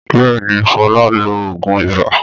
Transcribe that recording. Bẹ́ẹ̀ ni, Fọlá lo òògùn ibà.